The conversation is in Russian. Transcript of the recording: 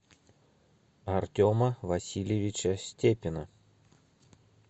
артема васильевича степина